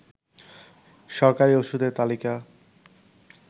সরকারি ওষুধের তালিকা